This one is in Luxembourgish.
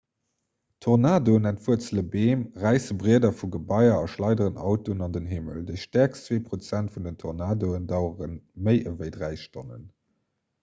tornadoen entwuerzele beem räisse brieder vu gebaier a schleideren autoen an den himmel déi stäerkst zwee prozent vun den tornadoen dauere méi ewéi dräi stonnen